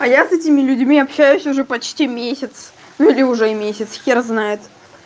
а я с этими людьми общаюсь уже почти месяц или уже месяц хер знает